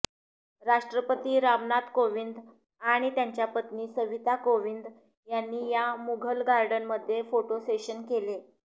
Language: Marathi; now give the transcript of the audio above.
राष्ट्रपती रामनाथ कोविंद आणि त्यांच्या पत्नी सविता कोविंद यांनी या मुघल गार्डनमध्ये फोटोसेशन केलं